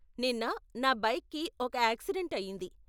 నిన్న, నా బైక్కి ఒక యాక్సిడెంట్ అయ్యింది.